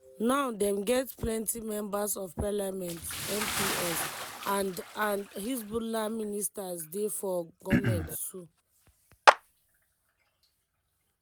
now dem get plenti members of parliament (mps) and and hezbollah ministers dey for goment too.